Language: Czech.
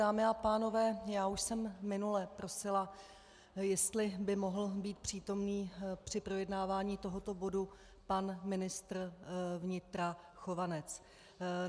Dámy a pánové, já už jsem minule prosila, jestli by mohl být přítomný při projednávání tohoto bodu pan ministr vnitra Chovanec.